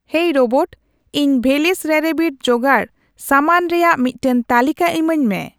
ᱤᱭ robot ᱤᱧ ᱵᱷᱮᱞᱚᱥ ᱨᱮᱨᱮᱵᱤᱴ ᱡᱚᱜᱟᱲ ᱥᱟᱢᱟᱱ ᱨᱮᱭᱟᱜ ᱢᱤᱫᱴᱟᱝ ᱛᱟᱹᱞᱤᱠᱟ ᱤᱢᱟᱹᱧᱢᱮ